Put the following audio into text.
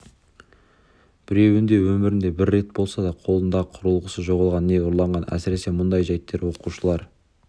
біреуінде өмірінде бір рет болса да қолындағы құрылғысы жоғалған не ұрланған әсіресе мұндай жәйттер оқушылар